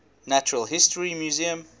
natural history museum